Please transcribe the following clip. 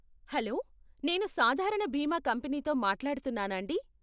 Hollow, నేను సాధారణ బీమా కంపనీతో మాట్లాడుతున్నానాండీ?